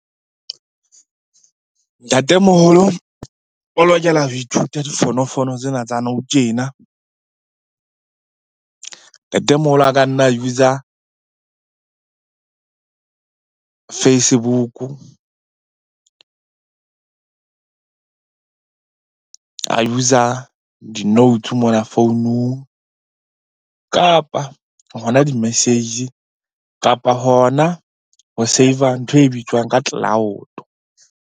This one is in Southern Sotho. Ntatemoholo o lokela ho ithuta difonofono tsena tsa nou tjena. Ntatemoholo a ka nna user Facebook-u, a user di-notes mona founung kapa hona di message. Kapa hona ho save-a ntho e bitswang ka cloud.